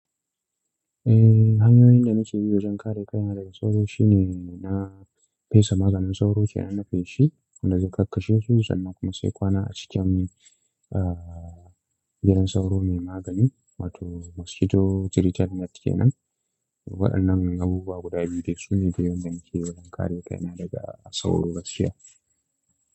Eh, hanyoyin da nake bi wajen kare kaina daga sauro shine na fesa maganin sauro ce na feshi da zai kakkace su sannan kuma sai kwana a cikin, ah, gidan sauro mai magani wato mosquito treated net kenan. Waɗannan abubuwa guda biyu ne su ne biyu da nake yi wajen kare kaina daga sauro gaskiya.